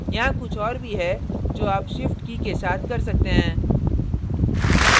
यहाँ कुछ और भी है जो आप shift की key के साथ कर सकते हैं